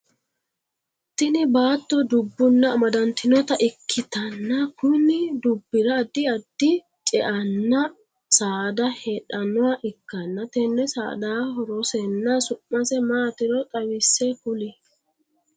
Tinni baatto dubunna amadantinota ikitanna kunni dubira addi addi ce'anna saada heedhanoha ikanna tenne saadaha horosenna su'mase maatiro xawise kuli?